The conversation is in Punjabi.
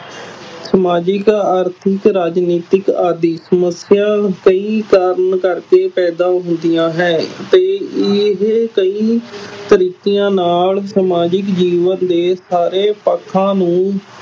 ਸਮਾਜਿਕ, ਆਰਥਿਕ, ਰਾਜਨੀਤਿਕ ਆਦਿ ਸਮੱਸਿਆ ਕਈ ਕਾਰਨ ਕਰਕੇ ਪੈਦਾ ਹੁੰਦੀਆਂ ਹੈ, ਤੇ ਇਹ ਕਈ ਤਰੀਕਿਆਂ ਨਾਲ ਸਮਾਜਿਕ ਜੀਵਨ ਦੇ ਸਾਰੇ ਪੱਖਾਂ ਨੂੰ